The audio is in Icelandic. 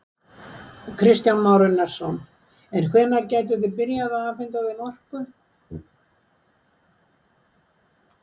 Kristján Már Unnarsson: En hvenær gætuð þið byrjað að afhenta þeim orku?